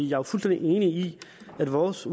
jo fuldstændig enig i at vores